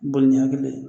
Boli ni hakili ye